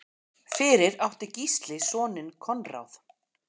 Fyrir átti Gísli soninn Konráð.